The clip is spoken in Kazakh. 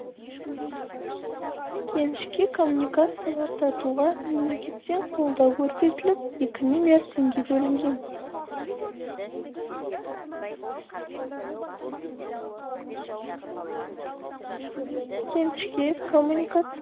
кенішке коммуникациялар тартуға мемлекеттен қолдау көрсетіліп екі миллиард теңге бөлінген кенішке коммуникация